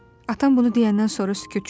Atam bunu deyəndən sonra sükut çökür.